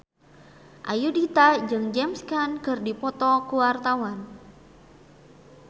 Ayudhita jeung James Caan keur dipoto ku wartawan